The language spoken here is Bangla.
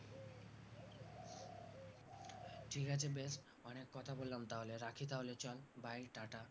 ঠিক আছে বেশ অনেক কথা বললাম রাখি তাহলে চল bye tata